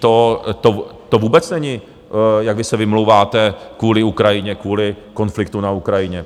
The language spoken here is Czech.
to vůbec není, jak vy se vymlouváte kvůli Ukrajině, kvůli konfliktu na Ukrajině.